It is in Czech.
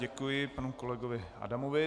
Děkuji panu kolegovi Adamovi.